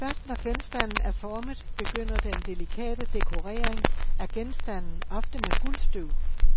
Først når genstanden er formet begynder den delikate dekorering af genstanden, ofte med guldstøv.